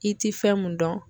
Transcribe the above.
I ti fɛn mun dɔn.